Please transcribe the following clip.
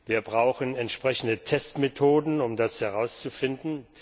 Wir brauchen entsprechende Testmethoden, um das herauszufinden.